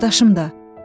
Qardaşım da.